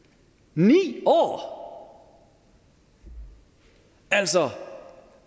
ni år altså